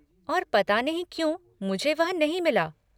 और पता नहीं क्यों मुझे वह नहीं मिला।